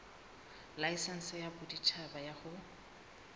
laesense ya boditjhaba ya ho